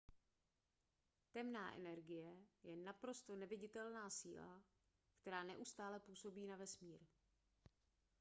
temná energie je naprosto neviditelná síla která neustále působí na vesmír